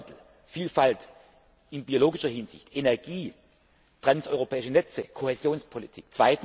Klimawandel, Vielfalt in biologischer Hinsicht, Energie, transeuropäische Netze, Kohäsionspolitik.